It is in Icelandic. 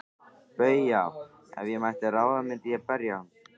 BAUJA: Ef ég mætti ráða myndi ég berja hann.